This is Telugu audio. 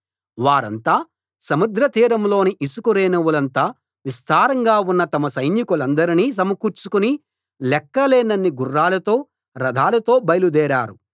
వారంతా సముద్రతీరంలోని ఇసుక రేణువులంత విస్తారంగా ఉన్న తమ సైనికులనందరినీ సమకూర్చుకుని లెక్కలేనన్ని గుర్రాలతో రథాలతో బయలుదేరారు